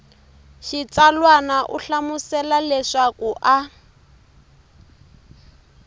xitsalwana u hlamusela leswaku a